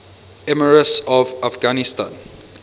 emirs of afghanistan